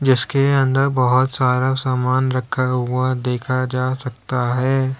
इसके अंदर बहुत सारा सामान रखा हुआ देखा जा सकता है।